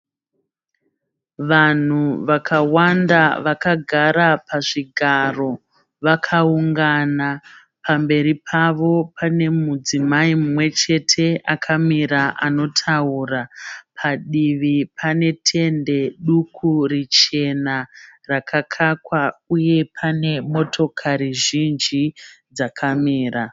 Vanhu vakawanda vakagara pazvigaro vakaungana. Pamberi pavo pane mudzimai umwe chete akamira anotaura. Padivi pane tende duku richena rakakakwa uye pane motokari zhinji dzakamira.